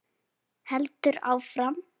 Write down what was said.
Heldur áfram: